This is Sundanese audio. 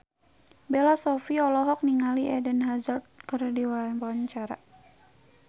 Bella Shofie olohok ningali Eden Hazard keur diwawancara